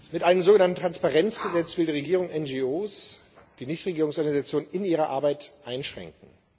Mit einem sogenannten Transparenzgesetz will die Regierung NGOs die Nichtregierungsorganisationen in ihrer Arbeit einschränken.